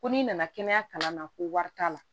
Ko n'i nana kɛnɛya kalan na ko wari t'a la